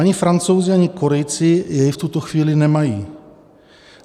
Ani Francouzi, ani Korejci jej v tuto chvíli nemají.